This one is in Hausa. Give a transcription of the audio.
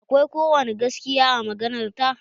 Akwai ko wani gaskiya a maganar ta?